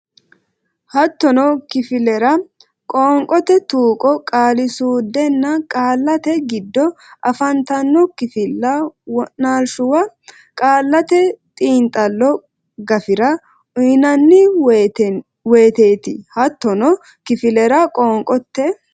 Hattono kifillara qoonqote tuqqo qaali suudenna qaallate giddo afantanno kifilla wo naalshuwa qaallate xiinxallo gafira uynanni woyteeti Hattono kifillara qoonqote.